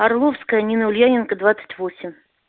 орловская емельяненко двадцать восемь